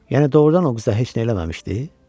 Yəni doğrudan o qıza heç nə eləməmişdi?